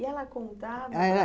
E ela contava?